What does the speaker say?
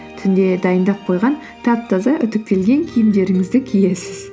түнде дайындап қойған тап таза үтіктелген киімдеріңізді киесіз